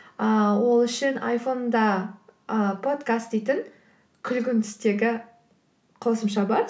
ыыы ол үшін айфонда ы подкаст дейтін күлгін түстегі қосымша бар